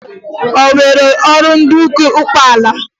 O nweghi uru dị n'ụkwụ ụkpala